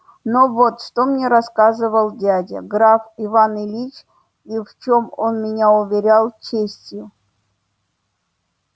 но вот что мне рассказывал дядя граф иван ильич и в чём он меня уверял честью